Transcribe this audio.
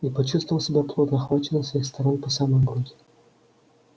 и почувствовал себя плотно охваченным со всех сторон по самую грудь